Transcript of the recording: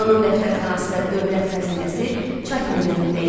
Fironun dəftərxanası və dövlət xəzinəsi Çatinin əlində idi.